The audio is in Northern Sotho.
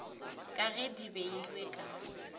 ka ge di beilwe ka